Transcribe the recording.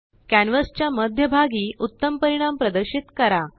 कॅनवासच्या मध्यभागी उत्तम परिणाम प्रदर्शित करा